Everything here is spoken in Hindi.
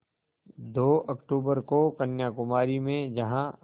दो अक्तूबर को कन्याकुमारी में जहाँ